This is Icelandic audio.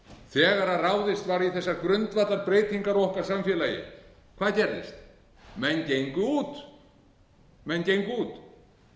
þegar ráðist var í þessar grundvallarbreytingar á okkar samfélagi hvað gerðist menn gengu út ég